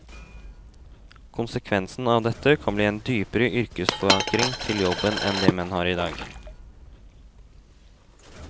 Konsekvensen av dette kan bli en dypere yrkesforankring til jobben enn det menn har i dag.